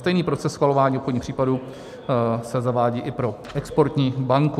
Stejný proces schvalování obchodních případů se zavádí i pro exportní banku.